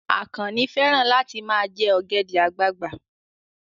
Àkànnì fẹ́ràn láti ma jẹ́ ọ̀gẹ̀dẹ̀ àgbagbà